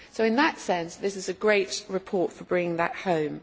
So in that sense, this is a great report for bringing that home.